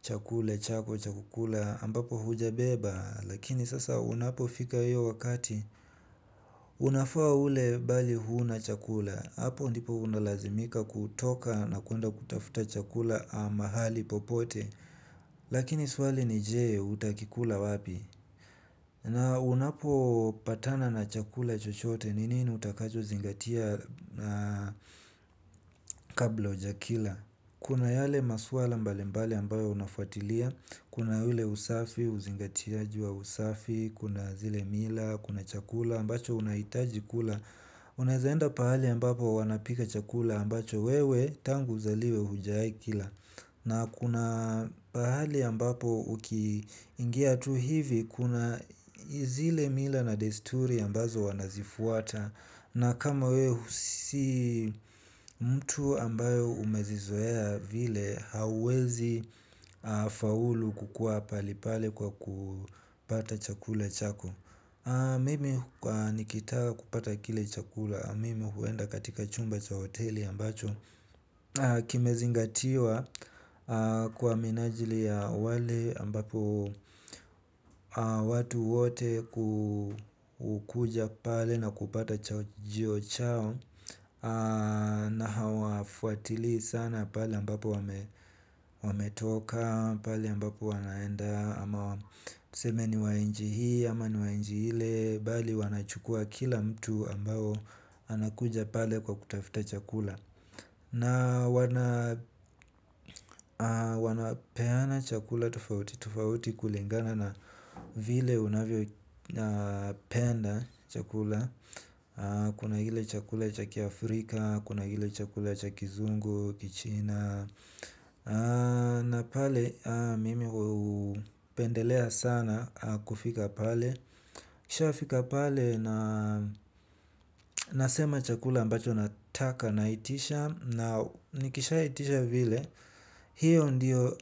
chakula chako cha kukula ambapo hujabeba. Lakini sasa unapofika hiyo wakati unafaa ule bali huna chakula. Apo ndipo unalazimika kutoka na kuenda kutafuta chakula a mahali popote. Lakini swali ni jee utakikula wapi. Na unapopatana na chakula chochote ni nini utakachozingatia kabla hujakila. Kuna yale maswala mbalimbali ambayo unafuatilia. Kuna hile usafi, uzingatiaji wa usafi, kuna zile mila, kuna chakula ambacho unahitaji kula. Unaezaenda pahali ambapo wanapika chakula ambacho wewe tangu zaliwe hujaikila. Na kuna pahali ambapo ukiingia tu hivi kuna zile mila na desturi ambazo wanazifuata. Na kama weu si mtu ambayo umezizoea vile hauwezi faulu kukua palipale kwa kupata chakula chako. Mimi nikitaka kupata kile chakula, mimi huenda katika chumba cha hoteli ambacho kimezingatiwa kwa minajili ya wale ambapo watu wote kukuja pale na kupata chajio chao. Na hawafuatili sana pale ambapo wametoka. Pale ambapo wanaenda ama tuseme ni wa nji hii ama ni wa nji hile. Bali wanachukua kila mtu ambapo anakuja pale kwa kutafta chakula. Na wanapeana chakula tufauti, tufauti kulingana na vile unavyopenda chakula. Kuna hile chakula cha kiAfrika, kuna hile chakula cha kizungu, Kichina. Na pale mimi hupendelea sana kufika pale nikiishafika pale na nasema chakula ambacho nataka naitisha. Na nikishaitisha vile, hiyo ndiyo